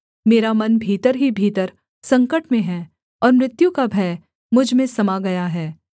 मेरा मन भीतर ही भीतर संकट में है और मृत्यु का भय मुझ में समा गया है